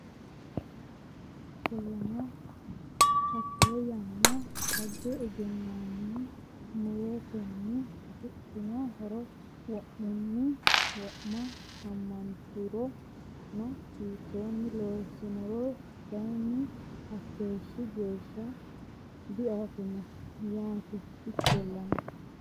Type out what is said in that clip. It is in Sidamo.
Ikkollana, hatte yanna xagga egennaammi mu’rotenni afidhanno horo wo’munni wo’ma ammanturono hiittoonni loossannoro kayinni hakkeeshshi geesh- sha diaffino yaate Ikkollana,.